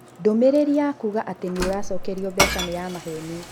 Ndũmĩrĩri ya kuuga atĩ nĩ ũracokerio mbeca nĩ ya maheeni.